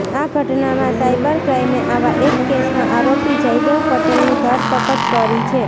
આ ઘટનામાં સાઇબર ક્રાઇમે આવા એક કેસમાં આરોપી જયદેવ પટેલની ધરપકડ કરી છે